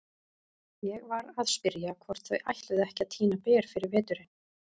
Ég var að spyrja hvort þau ætluðu ekki að tína ber fyrir veturinn.